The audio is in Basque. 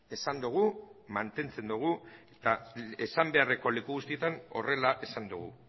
esan dugu mantentzen dugu eta esan beharreko leku guztietan horrela esan dugu